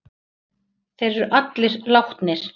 Þeir eru allir látnir.